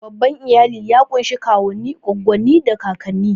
Babban iyali ya ƙunshi kawunnai, goggonni, da kakanni.